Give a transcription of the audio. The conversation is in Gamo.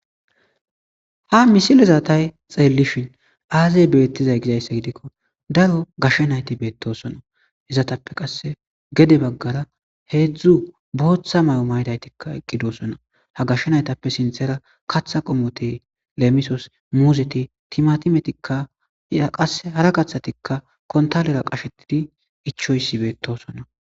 Ha misile zaatay xeellishin aazey beettizay gizayssa gidikko daro gashshe nayti beettosona hizatappe qasse gede baggara heedzdzu booththa may7o maydaytikka eqqidosona ha gashe naytappe sinthera katha qomote leemisos muuzeti timatimetikka yqae hara kaththatikka kontalera qashetidi ichoysi beetosona.